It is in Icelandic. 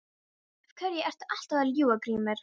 Af hverju ertu alltaf að ljúga Grímur?